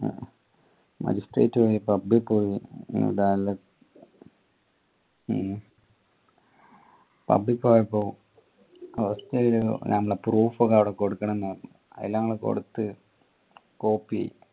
magistrate വഴി pub പോയി pub പോയപ്പോ നമ്മളെ proof ഒക്കെ അവിടെ കൊടുക്കണംന്ന് പറഞ്ഞു ത് ഞങ്ങൾ കൊടുത്ത് copy